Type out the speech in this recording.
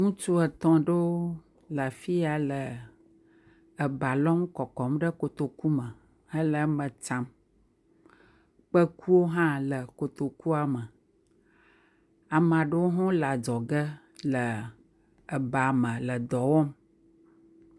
Ŋutsu etɔ̃ ɖewo le afi ya le eba lɔm le kɔkɔm ɖe kotoku me le eme tsam, kpekuwo hã le kotokua me, ame aɖewo hã le adzɔge le ebame le dɔ wɔm.